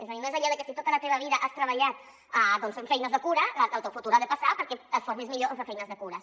és a dir no és allò de que si tota la teva vida has treballat fent feines de cura el teu futur ha de passar perquè et formis millor en fer feines de cures